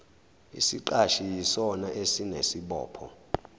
isiqashi yisona esinesibopho